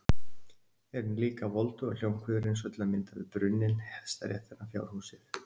En líka voldugar hljómkviður eins og til að mynda við brunninn, hestaréttina, fjárhúsið.